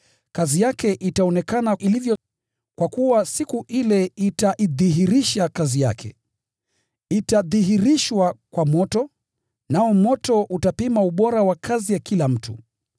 kazi yake itaonekana ilivyo, kwa kuwa Siku ile itaidhihirisha. Itadhihirishwa kwa moto, nao moto utapima ubora wa kazi ya kila mtu.